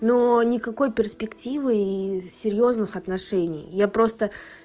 но никакой перспективы и серьёзных отношений я просто